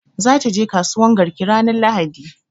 Za ta je kasuwan garki ranar lahadi